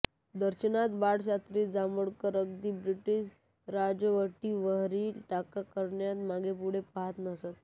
दर्पणात बाळशास्त्री जांभेकर अगदी ब्रिटीश राजवटीवरही टीका करण्यास मागेपुढे पाहत नसत